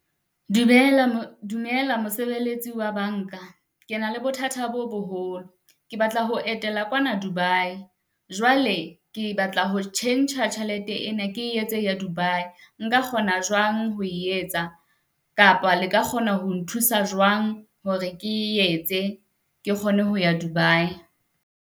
Dumela dumela mosebeletsi wa banka. Ke na le bothata bo boholo, ke batla ho etela kwana Dubai, jwale ke batla ho tjhentjha tjhelete ena. Ke e etse ya Dubai. Nka kgona jwang ho e etsa, kapa le ka kgona ho nthusa jwang hore ke e etse ke kgone ho ya Dubai?